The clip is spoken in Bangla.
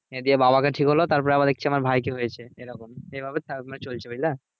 হ্যাঁ দিয়ে বাবাকে ঠিক হলো তারপরে আবার দেখছি আমার ভাইকে হয়েছে এরকম এভাবে চলছে বুঝলে?